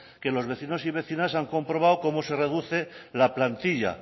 que los vecinos y vecinas han comprobado cómo se reduce la plantilla